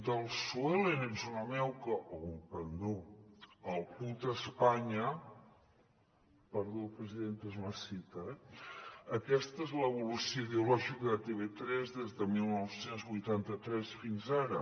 del sue ellen ets una meuca o un pendó al puta espanya perdó presidenta és una citació eh aquesta és l’evolució ideològica de tv3 des de dinou vuitanta tres fins ara